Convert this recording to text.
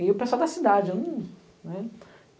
E o pessoal da cidade, hum, né?